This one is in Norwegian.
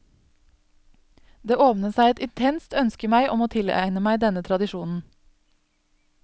Det åpnet seg et intenst ønske i meg om å tilegne meg denne tradisjonen.